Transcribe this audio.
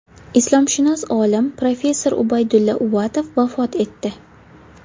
Islomshunos olim, professor Ubaydulla Uvatov vafot etdi.